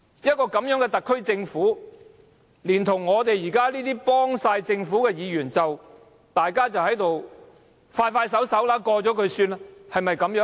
這樣的一個特區政府，連同我們幫政府忙的議員，都只想盡快通過議案便算了事。